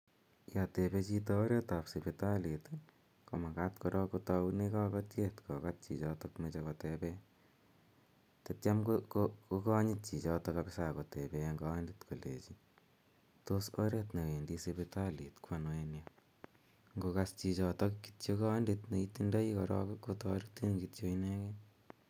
Ya tepe chito oret ap sipitalit ko makat korok ko taune kakatiet kokat chichotok mache kotepe tatiam ko kanyit chichotok kapisa ak kotepe eng' kanyit kolechi, "Tos oret ne wendi sipitalit ko ano en yu". Ngokas chichotok korok kondit ne itindai korok ko taretin kityo inegei.